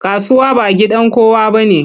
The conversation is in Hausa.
Kasuwa ba gidan kowa bane.